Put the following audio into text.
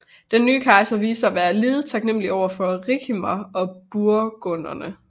Den nye kejser viste sig at være lidet taknemmelig over for Ricimer og burgunderne